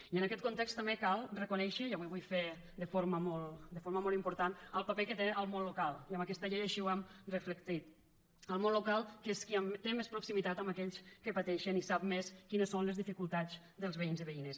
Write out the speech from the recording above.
i en aquest context també cal reconèixer i avui ho vull fer de forma molt important el paper que té el món local i en aquesta llei així ho hem reflectit el món local que és qui té més proximitat amb aquells que pateixen i sap més quines són les dificultats dels veïns i veïnes